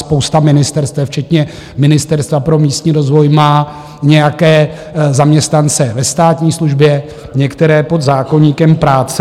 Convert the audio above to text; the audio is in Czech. Spousta ministerstev včetně Ministerstva pro místní rozvoj má nějaké zaměstnance ve státní službě, některé pod zákoníkem práce.